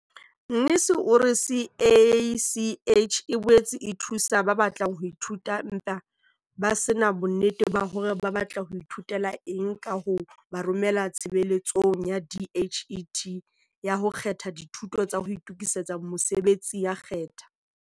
Mnisi o re CACH e boetse e thusa ba batlang ho ithuta empa ba se na bonnete ba hore ba batla ho ithutela eng ka ho ba romela Tshebeletsong ya DHET ya ho kgetha Dithuto tsa ho Itokisetsa Mosebetsi ya Khetha.